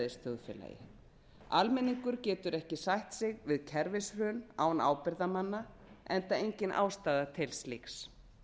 lýðræðisþjóðfélagi almenningur getur ekki sætt sig við kerfishrun á ábyrgðarmanna engin ástæða til slíks